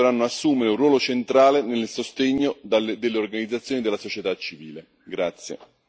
Solo così le istituzioni europee potranno assumere un ruolo centrale nel sostegno delle organizzazioni della società civile.